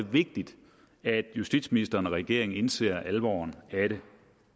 vigtigt at justitsministeren og regeringen indser alvoren i det